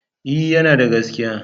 E, yana da gaskiya.